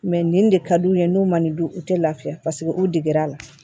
nin de ka d'u ye n'u ma nin dun u tɛ lafiya paseke u deg'a la